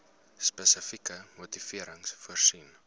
spesifieke motivering voorsien